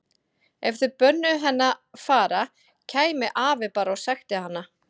Ef þau bönnuðu henni að fara kæmi afi bara og sækti hana.